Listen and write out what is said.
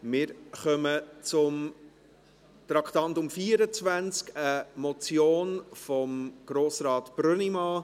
Wir kommen zum Traktandum 24, eine Motion von Grossrat Brönnimann.